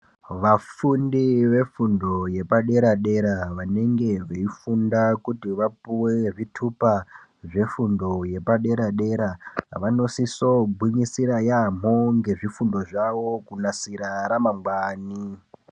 Vafundi vefundo yepadera dera vanenge veifunda kuti vapuwe zvitupa zvefundo yepadera dera vanosisa kugwinyisira yambo ngezvifundo zvawo kunasira ramangwani.